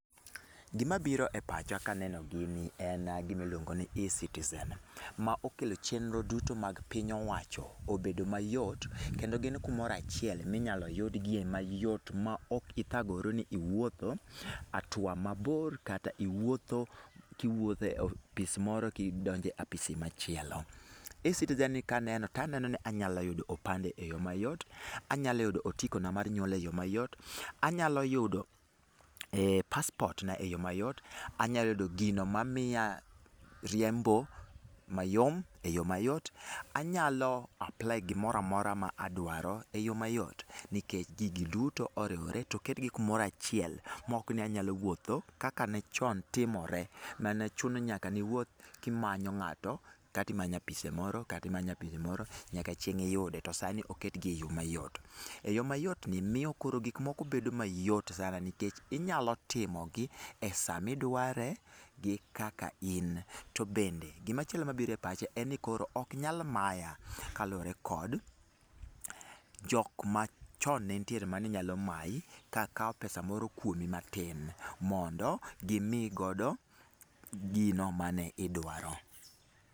Gima biro e pacha kaneno gini en gima iluongo ni Ecitizen, ma okelo chenro duto mag piny owacho obedo mayot, kendo gin kumoro achiel minyalo yudgie mayot ma ok ithagori ni iwuotho atua mabor kata iwuotho kiwuothe e opis moro kidonjo e apisi machielo. Ecitizen ni kaneno, taneno ni anyalo yudo opande e yo mayot, anyalo yudo otiko na mar nyuol e yo mayot, anyalo yudo passport na e yo mayot, anyalo yudo gino mamiya riembo mayom e yo mayot, anyalo apply gimoramora ma adwaro e yo mayot. Nikech gigi duto oriwre to oket gi kumoro achiel, mok ni anyalo wuotho kaka ne chon timore, mane chuno ni nyaka niwuoth kimanyo ng'ato kata imanyo apise moro, kata imanyo apise moro nyaka chieng' iyude, to sani oket gi e yo mayot. E yo mayot ni miyo koro gik moko bedo mayot sana nikech inyalo timo gi e saa midware gi kaka in. To bende, gimachielo mabiro e pacha, en ni koro oknyal maya, kaluwore kod, jok machon ne nitiere mane nyalo mayi kaka pesa moro kuomi matin mondo gi mii godo gino mane idwaro.